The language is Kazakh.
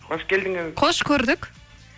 қош келдіңіз қош көрдік